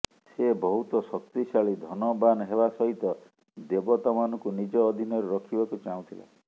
ସେ ବହୁତ ଶକ୍ତିଶାଳୀ ଧନବାନ ହେବା ସହିତ ଦେବତା ମାନଙ୍କୁ ନିଜ ଅଧୀନରେ ରଖିବାକୁ ଚାହୁଁଥିଲା